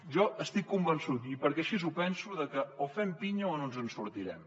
jo estic convençut i perquè així ho penso que o fem pinya o no ens en sortirem